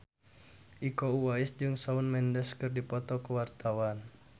Iko Uwais jeung Shawn Mendes keur dipoto ku wartawan